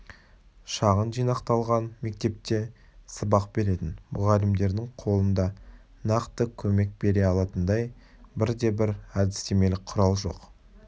шағын жинақталған мектепте сабақ беретін мұғалімдердің қолында нақты көмек бере алатындай бірде-бір әдістемелік құрал жоқ